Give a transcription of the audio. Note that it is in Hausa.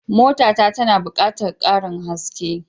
Mota ta tana buƙatar karin iskar gas.